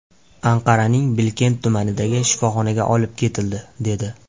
Anqaraning Bilkent tumanidagi shifoxonaga olib ketildi, dedi.